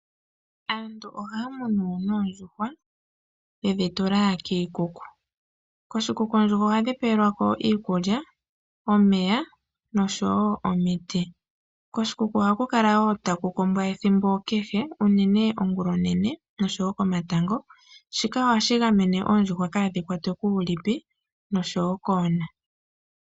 Aantu oha munu noondjhuwa yedhi tula kiikuku koshikuku ohadhi pelwa iikulya omeya nosho wo omiti koshikuku oha kukala taku kombwa ethimbo kehe uunene ongula onene noshowo komatango shika ohashi gamene ondjuhwa kuulipi noshowo koona.